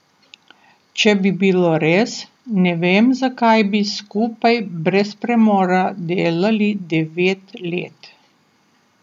Če bi bilo res, ne vem zakaj bi skupaj brez premora delali devet let.